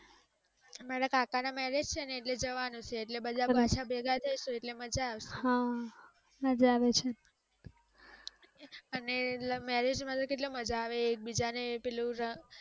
મારા કાકા ના marriage છે ને ઍટલે જવાનું છે ઍટલે બધા ભેગા થાશું ઍટલે મજા આવશે અને marriage માં તો કેટલું મજા આવે એકબીજા ને પેલું રંગ